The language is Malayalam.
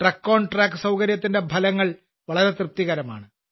ട്രക്ക്ഓൺട്രാക്ക് സൌകര്യത്തിന്റെ ഫലങ്ങൾ വളരെ തൃപ്തികരമാണ്